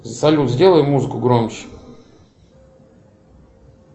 салют сделай музыку громче